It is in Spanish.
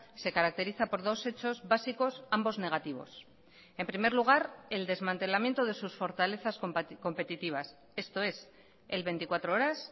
se caracteriza por dos hechos básicos ambos negativos en primer lugar el desmantelamiento de sus fortalezas competitivas esto es el veinticuatro horas